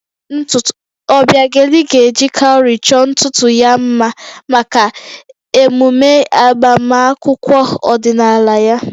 Obiageli ga-eji cowry chọọ ntutu ya mma maka emume agbamakwụkwọ ọdịnala ya